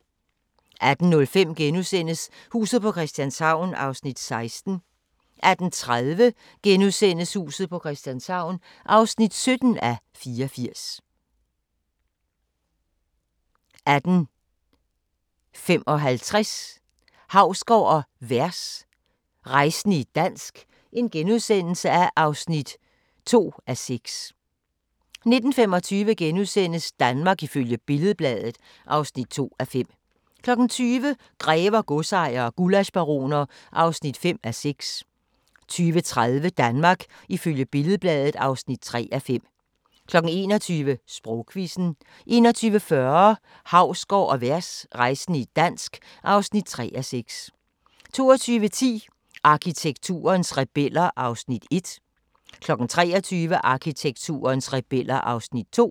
18:05: Huset på Christianshavn (16:84)* 18:30: Huset på Christianshavn (17:84)* 18:55: Hausgaard & Vers – rejsende i dansk (2:6)* 19:25: Danmark ifølge Billed-Bladet (2:5)* 20:00: Grever, godsejere og gullaschbaroner (5:6) 20:30: Danmark ifølge Billed-Bladet (3:5) 21:00: Sprogquizzen 21:40: Hausgaard & Vers – rejsende i dansk (3:6) 22:10: Arkitekturens rebeller (1:3) 23:00: Arkitekturens rebeller (2:3)